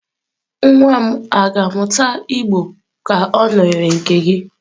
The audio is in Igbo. Nwa m ga-amụta igbo ka ọ nọnyere nke gị?